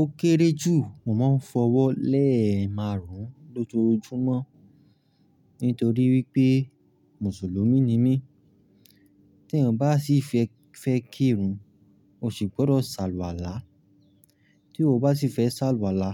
Ó kéré jù mo máa ń f'ọwọ́ lé ẹ̀máarùn-ún lójoojúmọ́. Nítorí wípé Mùsùlùmí ni mí. Tí èèyàn bá sì fẹ́ kírun, o sì gbọ́dọ̀ sàluwàlá. Tí o bá sì fẹ́ sàlọ̀wàlá,